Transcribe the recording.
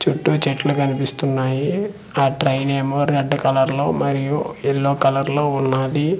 చుట్టూ చెట్లు కన్పిస్తున్నాయి ఆ ట్రైన్ ఏమో రెడ్ కలర్లో మరియు ఎల్లో కలర్లో ఉన్నాది.